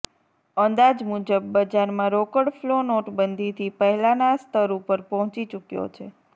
અંદાજ મુજબ બજારમાં રોકડ ફ્લો નોટબંધીથી પહેલાના સ્તર ઉપર પહોંચી ચુક્યો છે